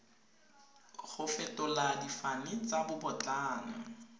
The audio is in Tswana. go fetola difane tsa babotlana